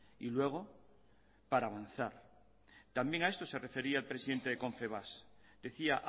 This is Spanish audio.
y luego para avanzar también a esto se refería el presidente de confebask decía